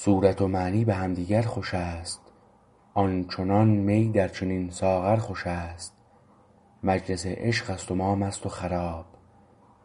صورت و معنی به همدیگر خوش است آن چنان می در چنین ساغر خوشست مجلس عشقست و ما مست و خراب